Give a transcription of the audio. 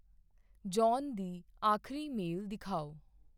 John ਦੀ ਆਖਰੀ mail ਦਿਖਾਓ।